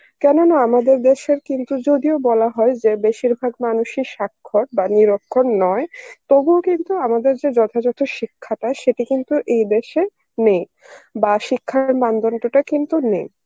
কেননা আমাদের দেশের কিন্তু যদিও বা বলা হয় যে বেশিরভাগ মানুষই স্বাক্ষর বা নিরক্ষর নয় তবুও কিন্তু আমাদের যে যথাযথ শিক্ষাটা সেটা কিন্তু এই দেশে নেই বা শিক্ষার মানদণ্ড টা কিন্তু নেই